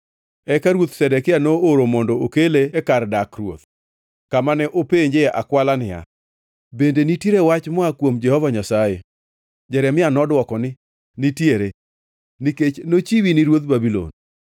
Eka Ruoth Zedekia nooro mondo okele e kar dak ruoth, kama ne openje akwala niya, “Bende nitiere wach moa kuom Jehova Nyasaye?” Jeremia nodwoko ni, “Nitiere, nikech nochiwi ni ruodh Babulon.”